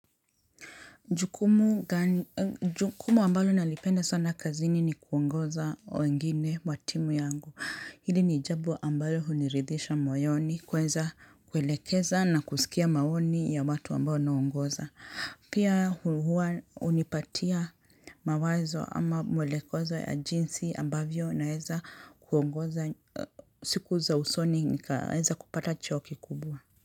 Jukumu ambalo nalipenda sana kazini ni kuongoza wengine wa timu yangu. Hili ni jambo ambalo huniridhisha moyoni. Kuelekeza na kusikia maoni ya watu ambao naongoza. Pia huwa hunipatia mawazo ama mwelekoza ya jinsi ambavyo naeza kuongoza siku za usoni nikaeza kupata cheo kikubwa.